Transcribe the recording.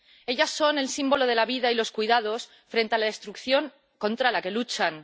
Ellas son el símbolo de la vida y los cuidados frente a la destrucción, contra la que luchan.